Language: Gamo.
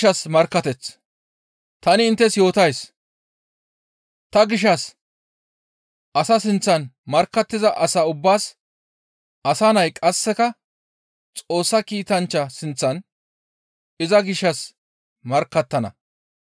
«Ta inttes yootays; ta gishshas asa sinththan markkattiza asa ubbaas Asa Nay qasseka Xoossa kiitanchcha sinththan iza gishshas markkattana.